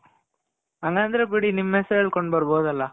ಹಂಗಂದ್ರೆ ಬಿಡಿ ನಿಮ್ ಹೆಸರು ಹೇಳ್ಕೊಂಡು ಬರ್ಬೊದಲ